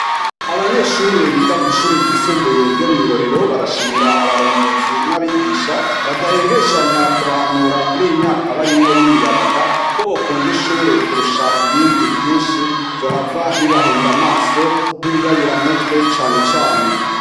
Abanyeshure biga kw'ishure ryisumbuye ryo mw'i Rohero barashimira abarongozi n'abigisha badahengeshanya kubahanura kuryi myaka barimwo y'imiyabaga, ko bokunda ishure kurusha ibindi vyinshi vyohava bibahenda amaso nk'ibiyayuramutwe cane cane.